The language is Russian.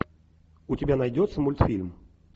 у тебя найдется мультфильм